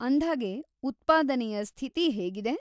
ಅಂದ್ಹಾಗೆ ಉತ್ಪಾದನೆಯ ಸ್ಥಿತಿ ಹೇಗಿದೆ?